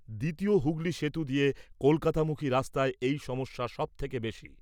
দ্বিতীয় হুগলী সেতু দিয়ে কলকাতামুখী রাস্তায় এই সমস্যা সবথেকে বেশী।